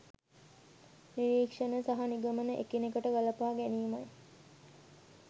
නිරීක්‍ෂණ සහ නිගමන එකිනෙකට ගලපා ගැනීම